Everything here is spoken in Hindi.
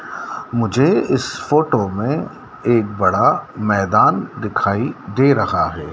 मुझे इस फोटो में एक बड़ा मैदान दिखाई दे रहा है।